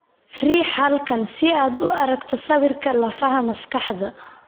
Riix halkan si aad u aragto sawirka lafaha maskaxda.